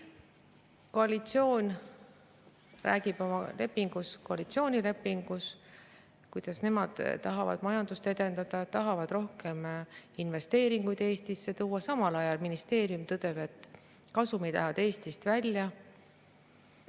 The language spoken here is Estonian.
Koalitsioon räägib koalitsioonilepingus, kuidas nemad tahavad majandust edendada, tahavad rohkem investeeringuid Eestisse tuua, samal ajal tõdeb ministeerium, et kasumid lähevad Eestist välja.